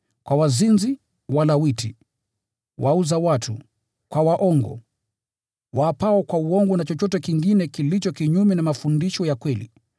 kwa wazinzi na wahanithi, kwa wale wauzao watu, na kwa waongo na waapao kwa uongo, na kwa chochote kingine kilicho kinyume na mafundisho ya kweli,